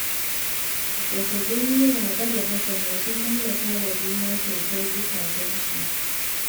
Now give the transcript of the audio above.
Da ga gani Rabe da Hassana sun mallaka wa juna kyautar zukatansu